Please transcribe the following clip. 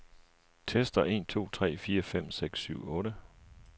Tester en to tre fire fem seks syv otte.